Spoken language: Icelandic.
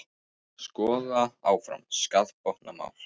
Skoða áfram skaðabótamál